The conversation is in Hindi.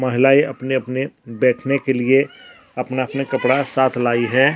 महिलाएं अपने अपने बैठने के लिए अपना अपने कपड़ा साथ लाई है।